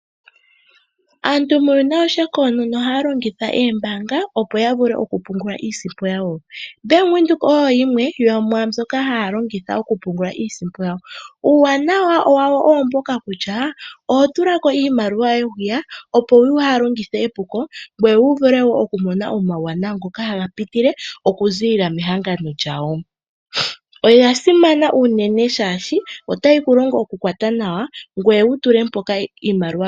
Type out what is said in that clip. Aantu muuyuni konyala ohaya longitha oombanga, opo ya vule oku pungula iimaliwa yawo. Bank Windhoek oyo yimwe yomwa mbyoka hayi longithwa oku pungulao yawo. Uuwanawa wawo owo mbuka kutya oho tulako iimaliwa yoye opo waa heyi longithe epuko, ngoye wi vule oku mona omauwanawa ngoka haga pitile mehangano lyawo, oya simana uunene oshoka otayi ku longo oku kwatwa nawa iimaliwa yoye.